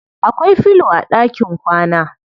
Akwai filo a ɗakin kwana.